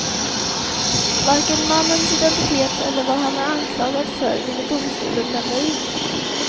Varken mannens identitet eller vad han är anklagad för ville domstolen lämna ut.